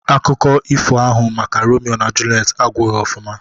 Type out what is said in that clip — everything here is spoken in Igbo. Akụkọ ifo ahụ maka Romio na Julet agwụghọ ofụma